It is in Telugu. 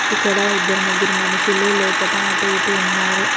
ఇక్కడ ఇద్దరు ముగ్గురు మనుషులు లోపట అటు ఇటు ఉన్నారు.